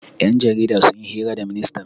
Ƴan jaridar sun yi hira da ministan.